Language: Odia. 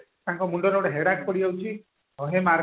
ତାଙ୍କ ମୁଣ୍ଡରେ ଗୋଟେ headache ପଡିଯାଉଛି